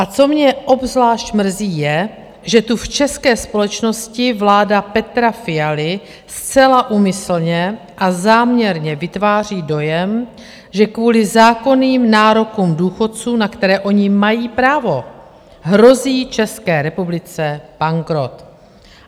A co mě obzvlášť mrzí, je, že tu v české společnosti vláda Petra Fialy zcela úmyslně a záměrně vytváří dojem, že kvůli zákonným nárokům důchodců, na které oni mají právo, hrozí České republice bankrot.